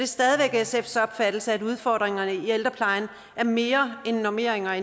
stadig væk sfs opfattelse at udfordringerne i ældreplejen er mere end normeringer